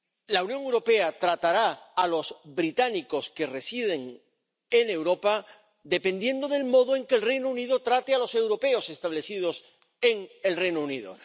La Unión Europea tratará a los británicos que residen en Europa dependiendo del modo en que el Reino Unido trate a los europeos establecidos en el Reino Unido.